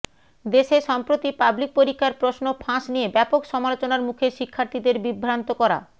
দেশে সম্প্রতি পাবলিক পরীক্ষার প্রশ্ন ফাঁস নিয়ে ব্যাপক সমালোচনার মুখে শিক্ষার্থীদের বিভ্রান্ত করা